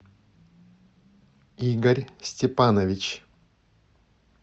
игорь степанович